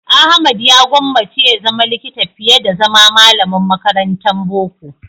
Ahmad ya gwammace ya zama likita fiye da zama malamin makarantan boko.